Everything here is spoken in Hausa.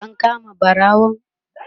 an kama ɓarawon?